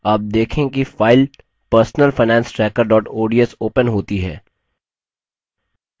आप देखेंगे कि file personal finance tracker ods opens होती है